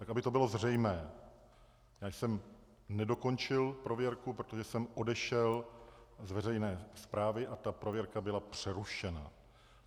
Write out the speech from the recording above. Tak aby to bylo zřejmé, já jsem nedokončil prověrku, protože jsem odešel z veřejné správy a ta prověrka byla přerušena.